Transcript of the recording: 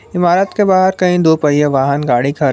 इमारत के बाहर कहीं दो पहिया वाहन गाड़ी खरे --